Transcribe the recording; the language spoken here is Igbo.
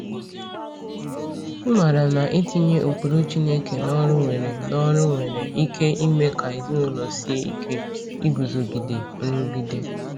Ịmara na itinye ụkpụrụ Chineke n’ọrụ nwere n’ọrụ nwere ike ime ka ezinụlọ sie ike iguzogide nrụgide.